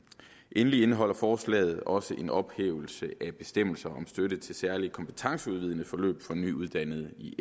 endelig indeholder forslaget også en ophævelse af bestemmelser om støtte til særlig kompetenceudvidende forløb for nyuddannede i